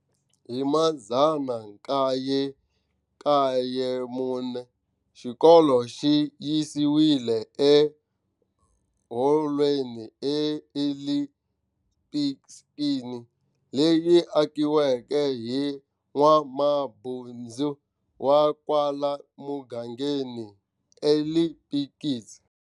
Hi 1994, xikolo xi yisiwile eHolweni eEli Spilkin, leyi akiweke hi n'wamabindzu wa kwala mugangeni Eli Spilkin.